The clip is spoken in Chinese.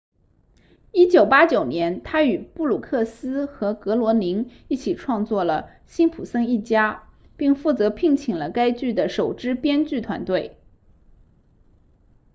1989年他与布鲁克斯和格罗宁一起创作了辛普森一家并负责聘请了该剧的首支编剧团队